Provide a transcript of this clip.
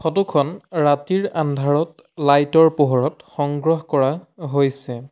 Photo খন ৰাতিৰ আন্ধাৰত লাইট ৰ পোহৰত সংগ্ৰহ কৰা হৈছে।